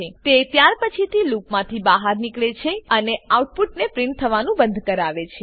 તે ત્યારપછીથી લૂપમાંથી બહાર નીકળે છે અને આઉટપુટને પ્રીંટ થવાનું બંધ કરાવે છે